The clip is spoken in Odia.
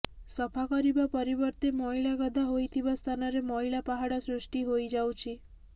ସଫା କରିବା ପରିବର୍ତ୍ତେ ମଇଳା ଗଦା ହୋଇଥିବା ସ୍ଥାନରେ ମଇଳା ପାହାଡ଼ ସୃଷ୍ଟି ହୋଇଯାଉଛି